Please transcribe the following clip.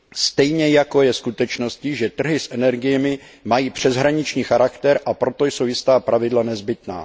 Stejně jako je skutečností, že trhy s energiemi mají přeshraniční charakter, a proto jsou jistá pravidla nezbytná.